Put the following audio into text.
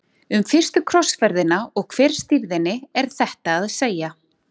Um fyrstu krossferðina og hver stýrði henni er þetta að segja.